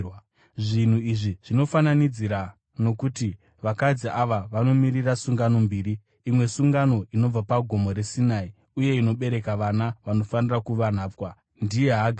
Zvinhu izvi zvinofananidzira, nokuti vakadzi ava vanomirira sungano mbiri. Imwe sungano inobva paGomo reSinai uye inobereka vana vanofanira kuva nhapwa: Ndiye Hagari.